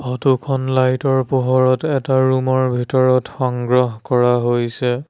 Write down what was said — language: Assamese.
ফটোখন লাইটৰ পোহৰত এটা ৰুমৰ ভিতৰত সংগ্ৰহ কৰা হৈছে।